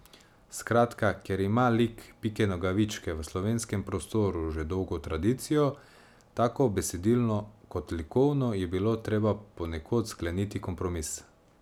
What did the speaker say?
Skratka, ker ima lik Pike Nogavičke v slovenskem prostoru že dolgo tradicijo, tako besedilno kot likovno, je bilo treba ponekod skleniti kompromis.